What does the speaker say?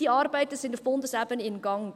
Diese Arbeiten sind auf Bundesebene im Gang.